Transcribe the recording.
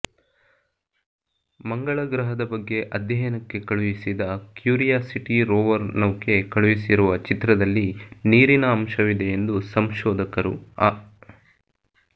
ಮಂಗಳ ಗ್ರಹದ ಬಗ್ಗೆ ಅಧ್ಯಯನಕ್ಕೆ ಕಳುಹಿಸಿದ ಕ್ಯೂರಿಯಾಸಿಟಿ ರೋವರ್ ನೌಕೆ ಕಳುಹಿಸಿರುವ ಚಿತ್ರದಲ್ಲಿ ನೀರಿನ ಅಂಶವಿದೆಯೆಂದು ಸಂಶೋಧಕರು ಅ